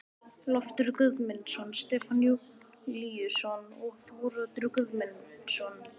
Loftur Guðmundsson, Stefán Júlíusson og Þóroddur Guðmundsson.